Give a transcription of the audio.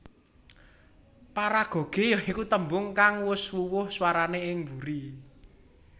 Paragoge ya iku tembung kang wus wuwuh swarané ing buri